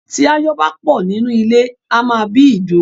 Tí ááyán bá pọ̀ nínú ilé, ó máá ń bí ìdun